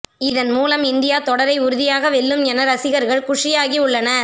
இதன் மூலம் இந்தியா தொடரை உறுதியாக வெல்லும் என ரசிகர்கள் குஷியாகி உள்ளனர்